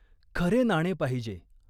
खरे नाणे पाहिजे.